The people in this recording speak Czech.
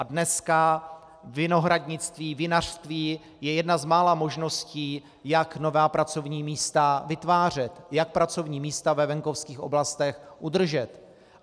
A dneska vinohradnictví, vinařství je jedna z mála možností, jak nová pracovní místa vytvářet, jak pracovní místa ve venkovských oblastech udržet.